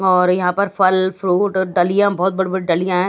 और यहां पर फल फ्रूट डलीया में बहोत बड़ बड़ डलीयां है।